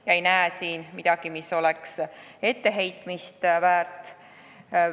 Ma ei näe neis midagi, mis oleks etteheitmist väärt.